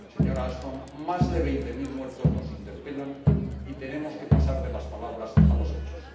Señora Ashton, más de veinte mil muertos nos interpelan y tenemos que pasar de las palabras a los hechos.